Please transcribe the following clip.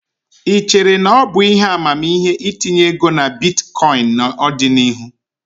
Ị chere na ọ bụ ihe amamihe itinye ego na bitkọịn n'ọdịnihu?